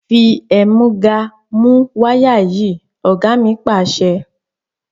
Fi ẹ̀múga mú wáyà yìí! Ọ̀gá mi Pàṣẹ.